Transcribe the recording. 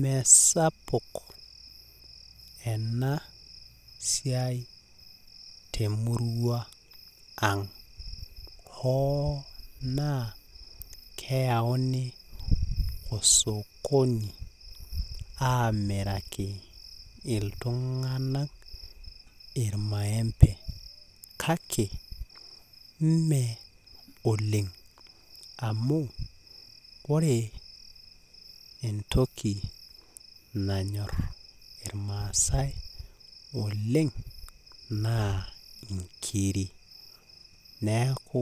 Mesapuk ena siai tenkop ang hoo naa keyauni osokoni amiraki iltunganak irmaembe kake mme oleng amu ore entoki nanyor irmaasae oleng naa inkiri neaku